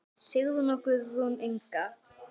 Sigrún og Guðrún Inga.